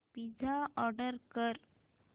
pizza order कर